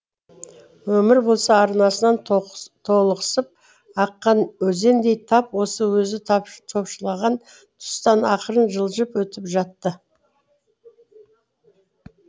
өмір болса арнасынан толықсып аққан өзендей тап осы өзі топшылаған тұстан ақырын жылжып өтіп жатты